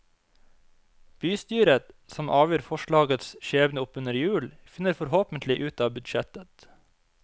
Bystyret, som avgjør forslagets skjebne oppunder jul, finner forhåpentlig ut av budsjettet.